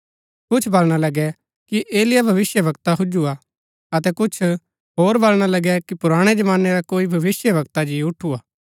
कुछ वलणा लगै कि एलिय्याह भविष्‍यवक्ता हुजुआ अतै कुछ होर बलणा लगै कि पुराणै जमानै रा कोई भविष्‍यवक्ता जी ऊठुआ